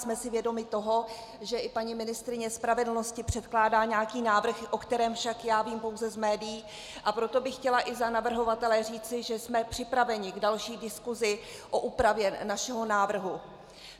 Jsme si vědomi toho, že i paní ministryně spravedlnosti předkládá nějaký návrh, o kterém však já vím pouze z médií, a proto bych chtěla i za navrhovatele říci, že jsme připraveni k další diskusi o úpravě našeho návrhu.